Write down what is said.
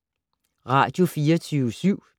Radio24syv